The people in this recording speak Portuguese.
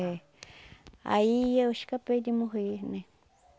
É. Aí eu escapei de morrer, né?